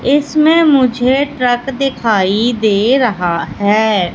इसमें मुझे ट्रक दिखाई दे रहा हैं।